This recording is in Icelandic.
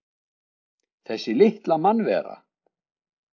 Þessi litla mannvera!